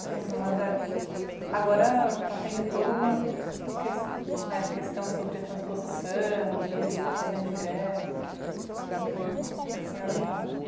Então, Dona Zé, agora está tendo toda uma ques, né, questão sobre a transposição, o bispo está fazendo greve. Uhum. O que a senha está...